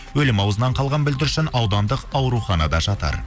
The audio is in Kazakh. өлім аузынан қалған бүлдіршін аудандық ауруханада жатыр